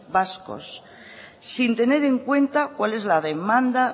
vascos sin tener en cuenta cuál es la demanda